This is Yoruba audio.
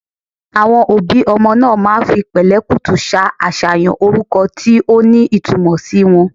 Àwon obi omo naa maa fi pèlékùtù sa àsàyàn oruko ti o ni itumò si won